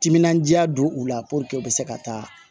Timinandiya don u la puruke u bɛ se ka taa